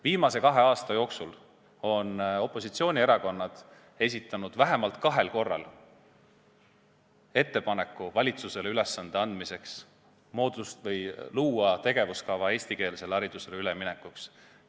Viimase kahe aasta jooksul on opositsioonierakonnad vähemalt kahel korral teinud ettepaneku anda valitsusele ülesanne luua tegevuskava eestikeelsele haridusele üleminekuks.